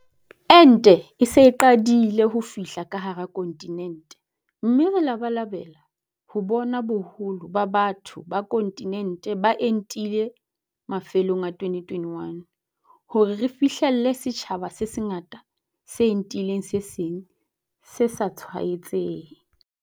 Ente e se e qadile ho fihla ka hara kontinente mme re labalabela ho bona boholo ba batho ba kontinente ba entile mafelong a 2021, hore re fihlelle setjhaba se sengata se entileng se seng se sa tshwaetsehe.